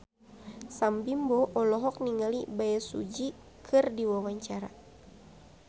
Sam Bimbo olohok ningali Bae Su Ji keur diwawancara